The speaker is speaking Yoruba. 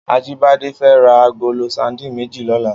Ajibade fè rà àgóló sàdín méji lòlá